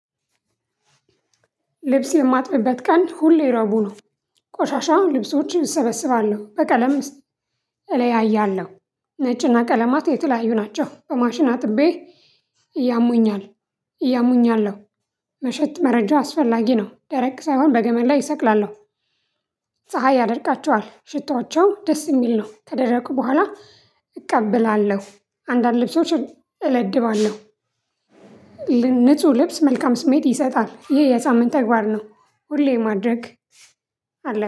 ልብስ የማጥፊበት ቀን ሁሌ ረቡ ነው ቆሻሻም ልብሶችን እሰበስባለሁ በቀለም እለያያለሁ ነጭና ቀለማት የተለያዩ ናቸው። በማሽን አጥቤ እያሙኛል። ያሙኛለው። መሸት መረጃ አስፈላጊ ነው ደረቅ ሳይሆን በገመድ ላይ እሰቅላለሁ። ፀሀይ ያደርቃቸዋል ሽቶቸው ደስ የሚል ነው። ከደረቁ በኋላ እቀበላለሁ። አንዳንድ ልብሶችን እለድባለሁ። ንጹህ ልብስ መልካም ስሜት ይሰጣል ይሄ የሳምንት ተግባር ነው። ሁሌ ማድረግ አለብኝ